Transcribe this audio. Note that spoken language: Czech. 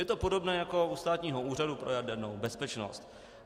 Je to podobné jako u Státního úřadu pro jadernou bezpečnost.